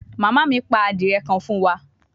Mama mi pa adie kan fun wa